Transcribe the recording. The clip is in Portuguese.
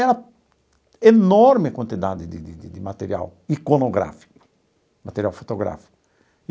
Era enorme a quantidade de de de de material iconográfico, material fotográfico.